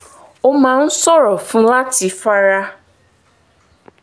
ó máa ń ṣòro fún un láti fara